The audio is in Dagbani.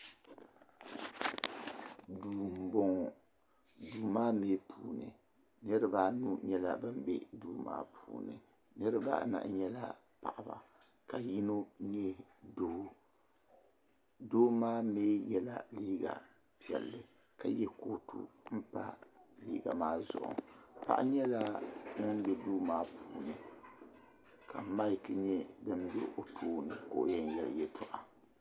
Duu n boŋɔ duu maa mɛɛ puuni niriba anu nyɛla ban be duu maa puuni niriba anahi nyɛla paɣaba ka yino nyɛ doo doo maa mɛɛ yela liiga piɛlli ka ye kootu m pa liiga maa zuɣu paɣa nyɛla ŋun be duu maa puunika maki nyɛ din be o tooni ka o yen yeli yeltɔɣa.